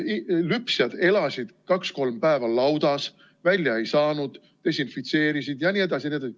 Lüpsjad elasid kaks-kolm päeva laudas, välja ei saanud, desinfitseerisid ja nii edasi.